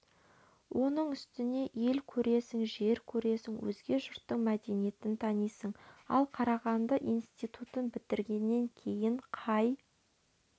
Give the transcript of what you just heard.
оның үстіне ел көресің жер көресің өзге жұрттың мәдениетін танисың ал қарағанды институтын бітіргеннен кейін қай